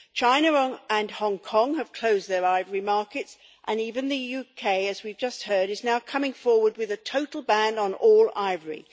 China and Hong Kong have closed their ivory markets, and even the UK, as we have just heard, is now coming forward with a total ban on all ivory.